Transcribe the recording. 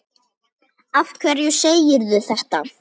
Af hverju segirðu þetta?